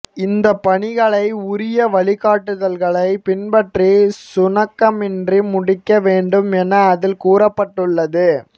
இந்தப் பணிகளை உரிய வழிகாட்டுதல்களை பின்பற்றி சுணக்கமின்றி முடிக்க வேண்டும் என அதில் கூறப்பட்டுள்ளது